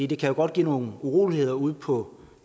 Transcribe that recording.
det kan jo godt give nogle uroligheder ude på